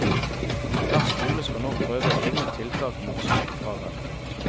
Hver skole skal nå prøve egne tiltak mot sykefravær.